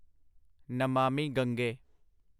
Namami Gange